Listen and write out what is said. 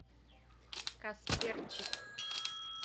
касперчик